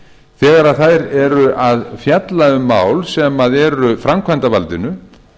þegar þær eru að fjalla um mál sem eru framkvæmdarvaldinu